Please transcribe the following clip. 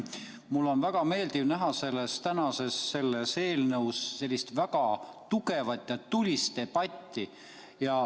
Mul on väga meeldiv näha täna selle eelnõu lugemisel sellist väga tugevat ja tulist debatti.